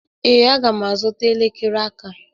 Ee, aga m azụta elekere aka.